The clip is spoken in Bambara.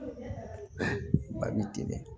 Ba bi teliya